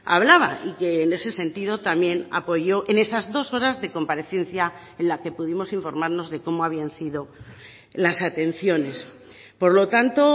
hablaba y que en ese sentido también apoyó en esas dos horas de comparecencia en la que pudimos informarnos de cómo habían sido las atenciones por lo tanto